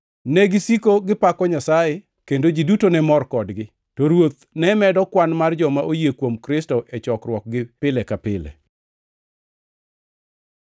Negisiko gipako Nyasaye, kendo ji duto ne mor kodgi. To Ruoth ne medo kwan mar joma oyie kuom Kristo e chokruokgi pile ka pile.